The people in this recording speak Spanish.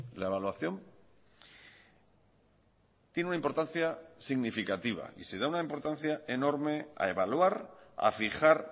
la evaluación tiene una importancia significativa y se da una importancia enorme a evaluar a fijar